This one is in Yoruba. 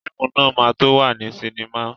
Fíìmù náà ma tó wà ní sinimá